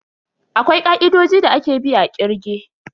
Akwai ka'idodi da ake bi a kirge.